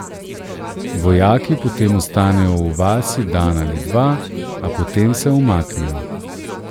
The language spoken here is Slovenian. Vojaki potem ostanejo v vasi dan ali dva, a potem se umaknejo.